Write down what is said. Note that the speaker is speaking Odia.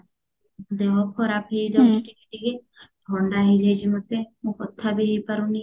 ଦେହ ଖରାପ ହେଇଯାଇଛି ଟିକେ ଟିକେ ଥଣ୍ଡା ହେଇଯାଇଛି ମତେ କଥା ବି ହେଇ ପାରୁନି